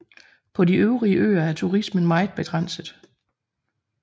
På de øvrige øer er turismen meget begrænset